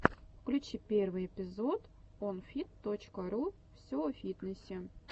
включи первый эпизод онфит точка ру все о фитнесе